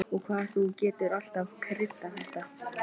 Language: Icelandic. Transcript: Og hvað þú getur alltaf kryddað þetta!